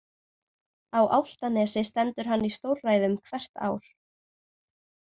Á Álftanesi stendur hann í stórræðum hvert ár.